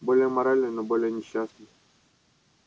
более моральный но более несчастный